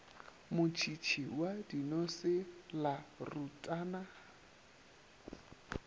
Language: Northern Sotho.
motšhitšhi wa dinose la rutana